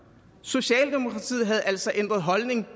socialdemokratiet havde altså ændret holdning